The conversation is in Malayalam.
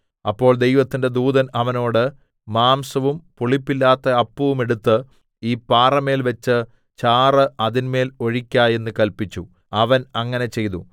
അപ്പോൾ ദൈവത്തിന്റെ ദൂതൻ അവനോട് മാംസവും പുളിപ്പില്ലാത്ത അപ്പവും എടുത്ത് ഈ പാറമേൽവെച്ച് ചാറ് അതിന്മേൽ ഒഴിക്ക എന്ന് കല്പിച്ചു അവൻ അങ്ങനെ ചെയ്തു